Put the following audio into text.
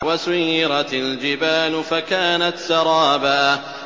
وَسُيِّرَتِ الْجِبَالُ فَكَانَتْ سَرَابًا